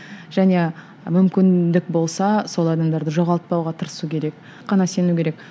және мүмкіндік болса сол адамдарды жоғалтпауға тырысу керек сену керек